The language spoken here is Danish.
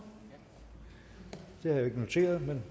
rimeligt at man